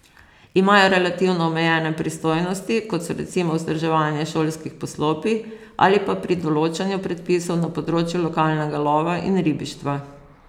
Imajo relativno omejene pristojnosti, kot so recimo vzdrževanje šolskih poslopij, ali pa pri določanju predpisov na področju lokalnega lova in ribištva.